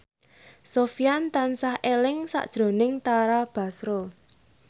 Sofyan tansah eling sakjroning Tara Basro